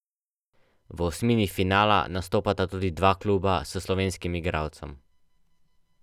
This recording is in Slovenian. V osmini finala nastopata tudi dva kluba s slovenskim igralcem.